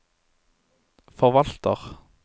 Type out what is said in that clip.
forvalter